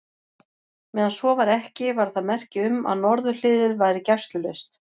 Meðan svo var ekki, var það merki um, að norðurhliðið væri gæslulaust.